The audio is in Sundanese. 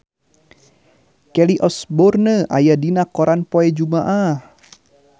Kelly Osbourne aya dina koran poe Jumaah